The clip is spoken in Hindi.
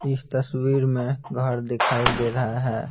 इस तस्वीर में घर दिखाई दे रहे है।